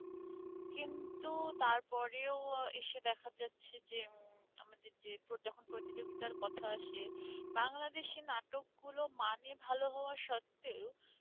কিন্তু তার পরেও এসে দেখা যাচ্ছে যে আমাদের যে যখন প্রতিযোগিতার কথা আসে বাংলাদেশের নাটকগুলো মানে ভাল হওয়া সত্ত্বেও